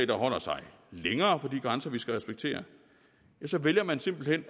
der holder sig længere fra de grænser vi skal respektere vælger man simpelt hen